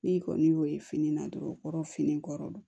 N'i kɔni y'o ye fini na dɔrɔn o kɔrɔ fini kɔrɔ don